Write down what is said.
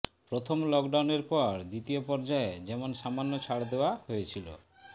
প্রথম লকডাউনের পর দ্বিতীয় পর্যায়ে যেমন সামান্য ছাড় দেওয়া হয়েছিল